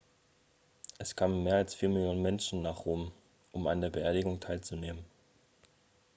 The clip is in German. es kamen mehr als vier millionen menschen nach rom um an der beerdigung teilzunehmen